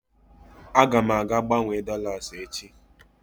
Aga m aga gbanwere dolas echi.